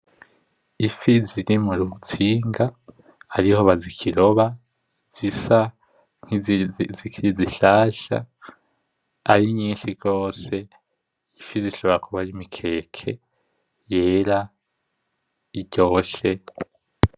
Ifi ziri murutsinga, ariho bakiziroba zisa nkizikiri zishasha arinyinshi gose, ifi zishobora kuba ari imikeke yera iryoshe.